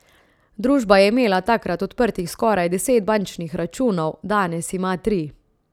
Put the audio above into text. Družba je imela takrat odprtih skoraj deset bančnih računov, danes ima tri.